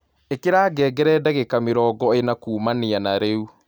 ĩkĩra ngengere ndagĩka mĩrongo ĩna kũmanĩa na rĩu